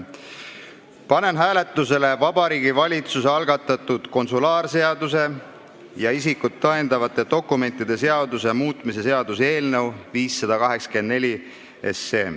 Panen hääletusele Vabariigi Valitsuse algatatud konsulaarseaduse ja isikut tõendavate dokumentide seaduse muutmise seaduse eelnõu 584.